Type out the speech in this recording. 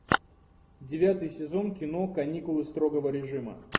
девятый сезон кино каникулы строгого режима